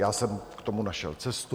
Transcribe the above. Já jsem k tomu našel cestu.